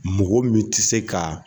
Mɔgɔ min tɛ se ka